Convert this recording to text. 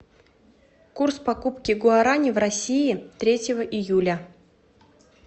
курс покупки гуарани в россии третьего июля